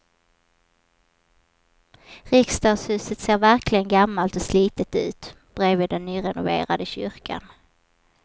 Riksdagshuset ser verkligen gammalt och slitet ut bredvid den nyrenoverade kyrkan.